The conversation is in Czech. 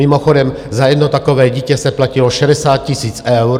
Mimochodem za jedno takové dítě se platilo 60 000 eur.